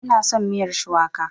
Ina son miyar shuwaka.